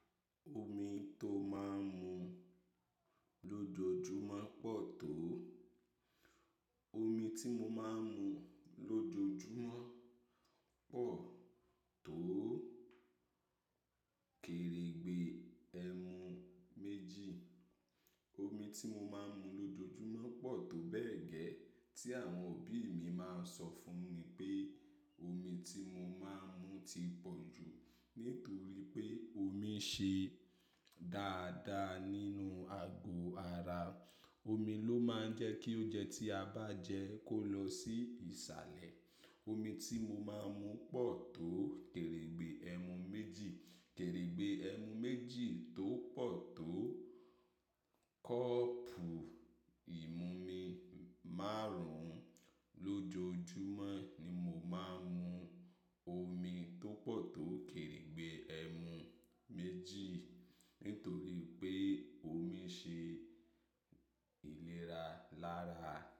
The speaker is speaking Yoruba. Omi tó máa ń mu lójoojúmọ́ pọ̀ tó. Omi tí mo máa ń mu lójoojúmọ́ pọ̀ tó kèrèǹgbè ẹmu méjì. Omi tí mo máa ń mu lójoojúmọ́ pọ̀ tó bẹ́ẹ̀ gẹ́ tí àwọn òbí mi máa ń sọ fún mi pé omi tí mo máa ń mu ti pọ̀ jù. Nítorí pé omi ṣe dáadáa nínú ago ara. Omi ló máa ń jẹ́ kí oúnjẹ tí a bá jẹ kó lọ sí ìsàlẹ̀. Omi tí mo máa ń mu pọ̀ tó kèrèǹgbè ẹmu méjì. Kèrèǹgbè ẹmu méjì tó pọ̀ tó kọ́ọ̀pù ìmumi márùn-ún lójoojúmọ́ ni mo máa ń mu omi tó pọ̀ tó kèrèǹgbè ẹmu méjì. Nítorí pé omi ṣe ìlera lára.